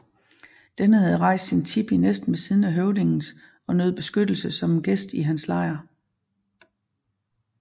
Denne havde rejst sin tipi næsten ved siden af høvdingens og nød beskyttelse som en gæst i hans lejr